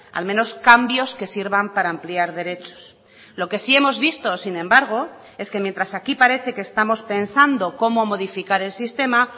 al menos cambios que sirvan para ampliar derechos lo que sí hemos visto sin embargo es que mientras aquí parece que estamos pensando cómo modificar el sistema